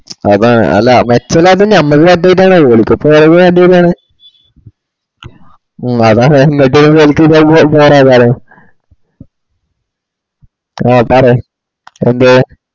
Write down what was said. അതാണ് അല്ല മെച്ചം ഇലാൻഡ് ഞമ്മള് പറ്റാഞ്ഞിട്ടാണ് ഒടക്കത്തെത് വേണ്ടിവര്യണ് ഹ്മ് അതാണ് ഇങ്ങോട്ട് വരുമ്പോ എനക്കുംവെല്ലെ പോരത് ആ പറയ്‌ എന്തേ